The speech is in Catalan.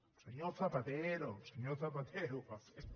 el senyor zapatero el senyor zapatero ho va fer